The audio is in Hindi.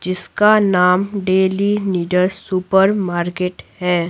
जिसका नाम डेली नीडस सुपरमार्केट है।